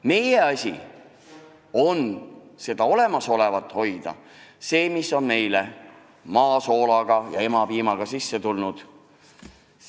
Meie asi on hoida olemasolevat, seda, mis on meile maa soola ja emapiimaga edasi antud.